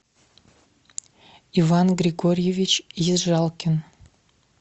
иван григорьевич ежалкин